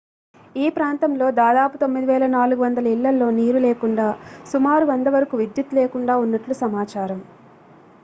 ఈ ప్రాంతంలో దాదాపు 9400 ఇళ్లలో నీరు లేకుండా సుమారు 100 వరకు విద్యుత్ లేకుండా ఉన్నట్లు సమాచారం